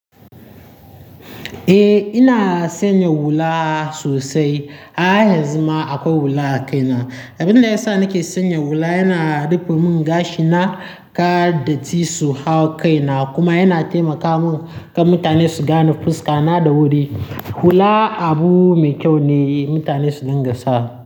Eh, ina sanya hula sosai. A haizuma akwai hula a kaina. Abin da ya sa nake sanya hula yana rufe mun gashi na, kada jisu yahau kaina kuma yana taimaka mun kan mutane su gane fuska na da wuri. Hula abu mai kyau ne mutane su dinga sa.